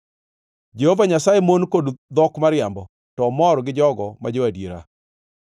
Jehova Nyasaye mon kod dhok mariambo, to omor gi jogo ma jo-adiera.